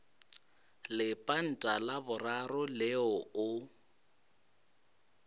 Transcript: lepanta la boraro leo o